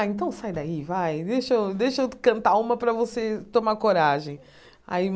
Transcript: Ah, então sai daí, vai, deixa eu deixa eu cantar uma para você tomar coragem. Aí